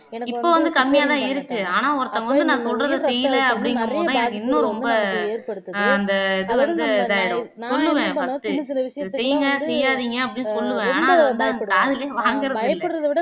இப்ப வந்து கம்மியா தான் இருக்கு ஆனா ஒருத்தவங்க வந்து நான் சொல்றதே செய்யல அப்படிங்கும்போதுதான் எனக்கு இன்னும் ரொம்ப ஆஹ் அந்த இது வந்து இதாயிடும் சொல்லுவே first செய்யுங்க செய்யாதீங்க அப்படின்னு சொல்லுவேன் ஆனா அதுவந்து காதுல வாங்கறது இல்ல